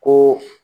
Ko